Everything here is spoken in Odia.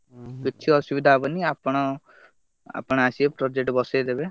କିଛି ଅସୁବିଧା ହବନି ଆପଣ, ଆପଣ ଆସିବେ project ବସେଇଦେବେ,